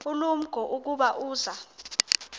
ulumko ukuba uza